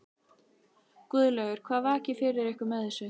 Guðlaugur, hvað vakir fyrir ykkur með þessu?